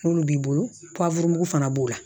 N'olu b'i bolo fana b'o la